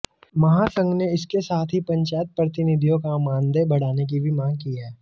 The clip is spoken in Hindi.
महासंघ ने इसके साथ ही पंचायत प्रतिनिधियों का मानदेय बढ़ाने की भी मांग की है